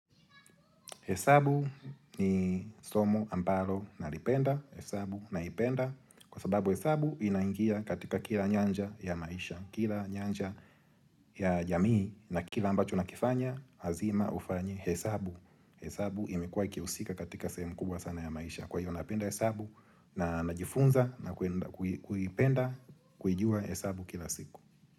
Hesabu ni somo ambalo nalipenda, hesabu naipenda kwa sababu hesabu inaingia katika kila nyanja ya maisha, kila nyanja ya jamii na kila ambacho na kifanya, hazima ufanye hesabu. Hesabu imekuwa ikihusika katika sehemu kubwa sana ya maisha. Kwa hiyo napenda hesabu na najifunza na ku kuipenda kuijua hesabu kila siku.